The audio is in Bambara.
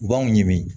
U b'anw ɲini